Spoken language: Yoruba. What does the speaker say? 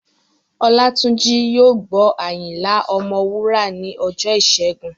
Olátúnjí yóò gbọ́ Ayinla ọmọ Wúrà ní ọjọ́ ìṣẹ́gun